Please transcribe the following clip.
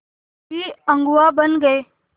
भी अगुवा बन गए